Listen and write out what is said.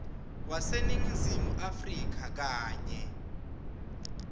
waseningizimu afrika kanye